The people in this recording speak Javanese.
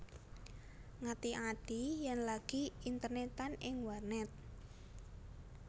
Ngati ati yèn lagi internètan ing warnèt